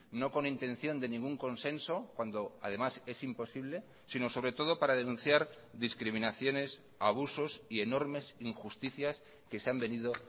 no con intención de ningún consenso cuando además es imposible sino sobre todo para denunciar discriminaciones abusos y enormes injusticias que se han venido